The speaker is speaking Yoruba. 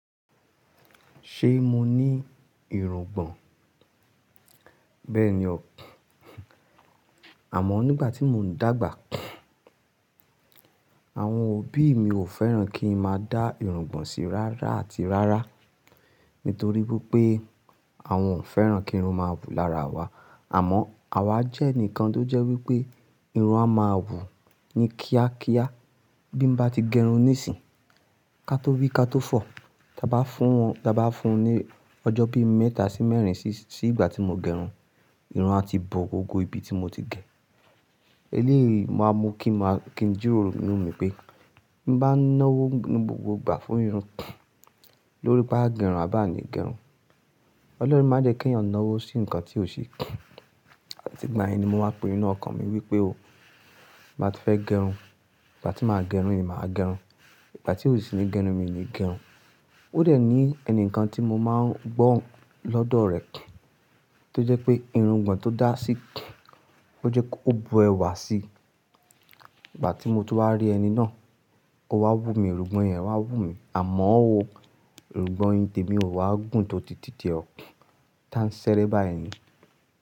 Ṣé mọ ní irùngbọ̀n? Bẹ́ẹ̀ni o. Àmọ́ nígbà tí mò ń dàgbà, àwọn òbí mi ò fẹ́ràn kí n máa dá irùngbọ̀n sí rárá àti rárá. Nítorí pé pé àwọn ò fẹ́ràn kí irun máwù lára wa. Amọ́, àwa jẹ́ ẹnìkan tó jẹ́ wípé irun a máa wù ni kíákíá. Bí n bá ti gẹrun níìsín, ká tó rí ká tó fọ̀, da bá fún un, da bá fún un ní ọjọ́ bí mẹ́ta sí mẹ́rin sí ìgbà tí mo gẹrun, irun a ti bọ gbogbo ibi tí mo ti gẹ. Eléyìí màá mu kí n jíròrò inú mi pé bí mo bá ń náwó gbogbo ìgbà fún irun, lórí pá gẹrun a bá ni gẹrun. Ọlọ́run má jẹ́ kí ẹ̀yàn náwó sí nǹkan tí ò ṣe. Àti ìgbà yẹn ni mo wá pinnu inú ọkàn mi wípé o, bá ti fẹ́ gẹrun, ìgbà tí màá gẹrun ni màá gẹrun, ìgbà tí ò sì ní gẹrun mi ọ ni gẹrun. Ó dẹ̀ ní ẹnìkan tí mo máa ń gbọ́ lọ́dọ̀ rẹ̀ tó jẹ́ pé irùngbọ̀n tó dá sí, ó jẹ́ kó bu ẹwà si. Ìgbà tí mo tó wá rí ẹni náà, ó wá wùmí, irùngbọ̀n ẹ wá wùmí. Àmọ́ ò, irùngbọ̀n tí tèmi ò wá gùn tó ti tiẹ tán ṣeré bai ni.